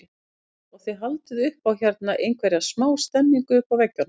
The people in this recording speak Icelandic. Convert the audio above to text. Páll: Og þið haldið upp á hérna einhverja smá stemningu uppi á veggjum?